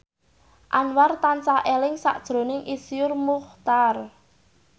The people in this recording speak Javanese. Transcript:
Anwar tansah eling sakjroning Iszur Muchtar